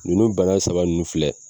Nunnu bana saba nunnu filɛ